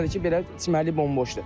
Bir həftədir ki, belə çimərlik bomboşdur.